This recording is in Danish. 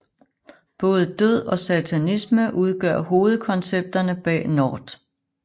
Både død og satanisme udgør hovedkoncepterne bag Nortt